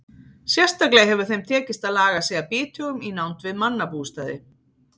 Sérstaklega hefur þeim tekist að laga sig að bithögum í nánd við mannabústaði.